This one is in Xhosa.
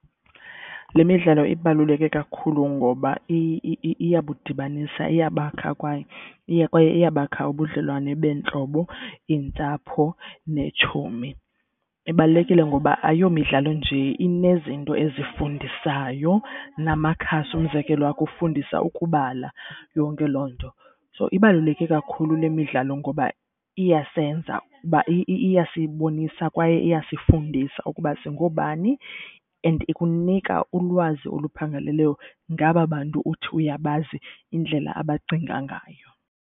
Le midlalo ibaluleke kakhulu ngoba iyabudibanisa iyabakha kwaye iyabakha ubudlelwane beentlobo, iintsapho neetshomi. Ibalulekile ngoba ayomidlalo, njee inezinto ezifundisayo. Namakhasi umzekelo akufundisa ukubala yonke loo nto. So ibaluleke kakhulu le midlalo ngoba iyasenza uba iyasibonisa kwaye iyasifundisa ukuba singoobani and ikunika ulwazi oluphangaleleyo ngaba bantu uthi uyabazi indlela abacinga ngayo.